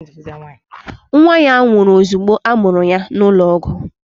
Nwa ya nwụrụ ozugbo a mụrụ ya n'ụlọọgwụ